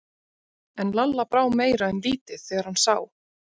En Lalla brá meira en lítið þegar hann sá